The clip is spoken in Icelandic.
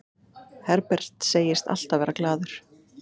Herbert segist alltaf vera glaður.